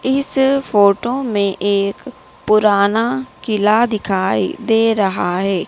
इस फोटो में एक पुराना किला दिखाई दे रहा हैं।